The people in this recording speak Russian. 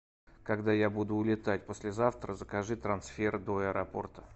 когда я буду улетать послезавтра закажи трансфер до аэропорта